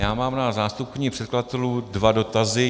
Já mám na zástupkyni předkladatelů dva dotazy.